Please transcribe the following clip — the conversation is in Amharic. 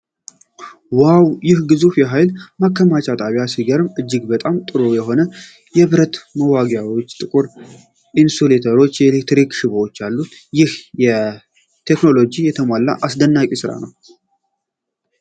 ዋው! ይህ ግዙፍ የኃይል ማከፋፈያ ጣቢያ ሲገርም! እጅግ በጣም ጥሩ የሆኑ የብረት መዋቅሮች፣ ጥቁር ኢንሱሌተሮች እና የኤሌክትሪክ ሽቦዎች አሉ። ይህ በቴክኖሎጂ የተሞላ አስደናቂ ስራ ነው።